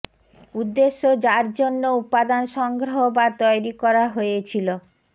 উদ্দেশ্য যার জন্য উপাদান সংগ্রহ বা তৈরি করা হয়েছিল